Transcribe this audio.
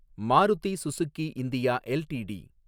Maruti Suzuki India LTD